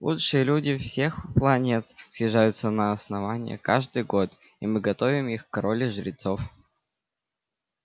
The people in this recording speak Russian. лучшие люди всех планет съезжаются на основание каждый год и мы готовим их к роли жрецов